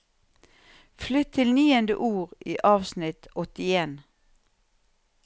Flytt til niende ord i avsnitt åttien